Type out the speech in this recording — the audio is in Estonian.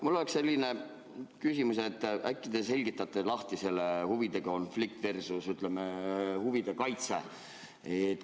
Mul on selline küsimus, et äkki te seletate lahti selle huvide konflikti versus huvide kaitse.